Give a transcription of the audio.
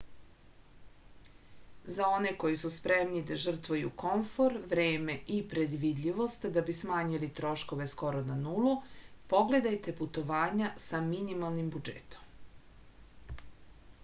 za one koji su spremni da žrtvuju komfor vreme i predvidljivost da bi smanjili troškove skoro na nulu pogledajte putovanja sa mimalnim budžetom